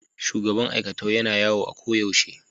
shugaban aikatau Yana yawo a koyaushe.